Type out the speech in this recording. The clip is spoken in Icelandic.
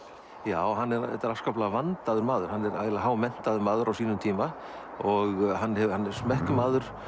já þetta er afskaplega vandaður maður hann er hámenntaður maður á sínum tíma og hann hann er smekkmaður